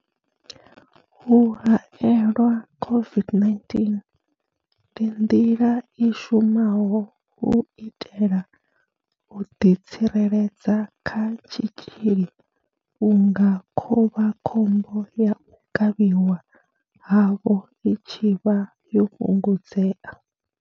U haelelwa COVID-19 ndi nḓila i shumaho u itela u ḓi tsireledza kha tshitzhili vhunga khovhakhombo ya u kavhiwa havho i tshi vha yo fhungudzea.